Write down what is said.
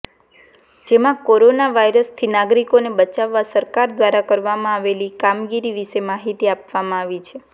જેમાં કોરોના વાયરસથી નાગરિકોને બચાવવા સરકાર દ્વારા કરવામાં આવેલી કામગીરી વિશે માહિતી આપવામાં આવી છે